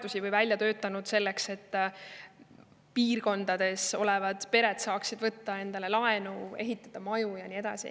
Oleme neid välja töötanud selleks, et maal elavad pered saaksid võtta laenu, et maja ehitada.